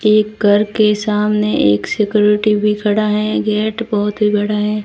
एक घर के सामने एक सिक्योरिटी भी खड़ा है गेट बहोत ही बड़ा है।